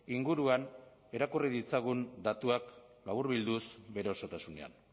inguruan irakurri ditzagun datuak laburbilduz bere osotasunean